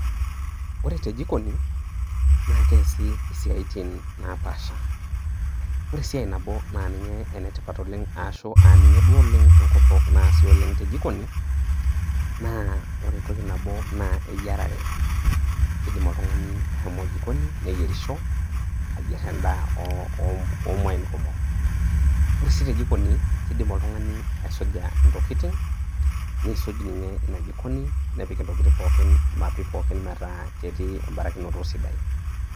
ore tejikoni naa keesi isatin napaasha. ore esiai nabo naa ninye ene tipat oleng aashu aa ninye duo oleng enkorok naasuji oleng te jikoni .naa ore entoki nabo naa eyiarere, kidim oltungani ashomo jikoni, neyierisho ayier edaa oo muain kumok. ore sii te jikoni, kidim oltungani aisuja ntokitin, neisuj ninye ina jikoni, nepik intokitin pokin metaa ketii ebarakinoto sidai.